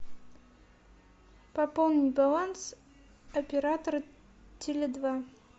пополни баланс оператора теле два